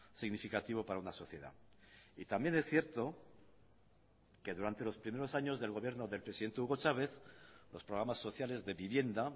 significativo para una sociedad y también es cierto que durante los primeros años del gobierno del presidente hugo chávez los programas sociales de vivienda